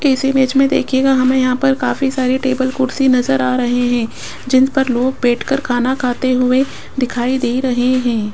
इस इमेज में देखिएगा हमें यहां पर काफी सारी टेबल कुर्सी नजर आ रहे हैं जिन पर लोग बैठकर खाना खाते हुए दिखाई दे रहे हैं।